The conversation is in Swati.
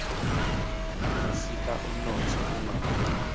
asita umnotfo ungawi